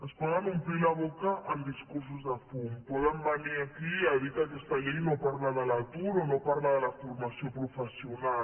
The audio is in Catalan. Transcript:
es poden omplir la boca amb discursos de fum poden venir aquí a dir que aquesta llei no parla de l’atur o no parla de la formació professional